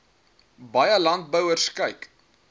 baie landbouers kyk